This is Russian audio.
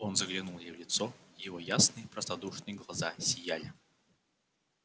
он заглянул ей в лицо его ясные простодушные глаза сияли